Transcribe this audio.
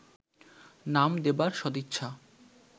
নাম দেবার সদিচ্ছা